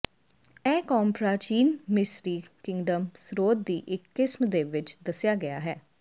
ਇਹ ਕੌਮ ਪ੍ਰਾਚੀਨ ਮਿਸਰੀ ਕਿੰਗਡਮ ਸਰੋਤ ਦੀ ਇੱਕ ਕਿਸਮ ਦੇ ਵਿੱਚ ਦੱਸਿਆ ਗਿਆ ਹੈ